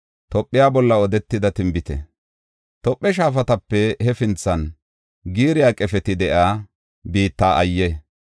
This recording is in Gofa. Tophe shaafatape hefinthan giiriya qefeti de7iya biitta ayye!